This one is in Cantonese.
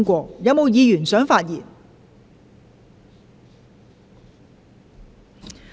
是否有議員想發言？